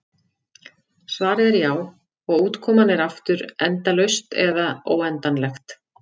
Svarið er já, og útkoman er aftur endalaust eða óendanlegt.